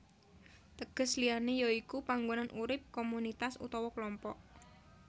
Teges liyané ya iku panggonan urip komunitas utawa klompok